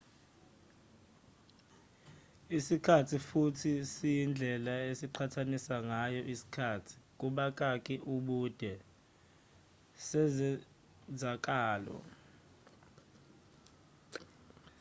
isikhathi futhi siyindlela esiqhathanisa ngayo isikhathi ubude sezenzakalo